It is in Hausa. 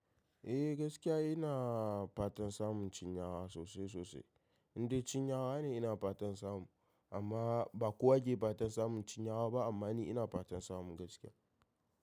Eh gaskiya ina fatan samun cinyawa sosai sosai. Indai cinyawa ne ina fatan samu amma ba kowa ke fatan samun cinyawa ba amma ni ina fatan samu gaskiya.